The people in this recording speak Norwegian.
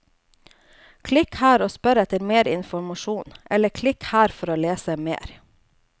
Klikk her og spør etter mer informasjon, eller klikk her for å lese mer.